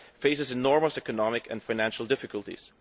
it faces enormous economic and financial difficulties